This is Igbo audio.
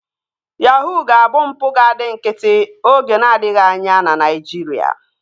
Yahuu ga-abụ mpụ ga-adị nkịtị oge n'adịghị anya na Naijiria